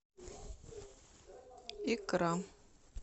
икра